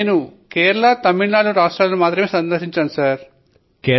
నేను కేరళ ను ఇంకా తమిళ నాడు ను మాత్రమే సందర్శించాను సర్